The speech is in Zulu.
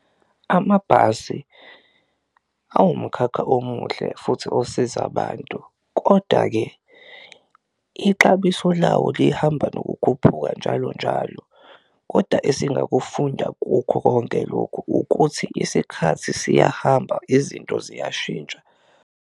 Amabhasi awumkhakha omuhle futhi osiza abantu koda-ke ixabiso lawo lihamba nokukhuphuka njalonjalo, koda esingakufunda kukho konke lokhu ukuthi isikhathi siyahamba izinto ziyashintsha.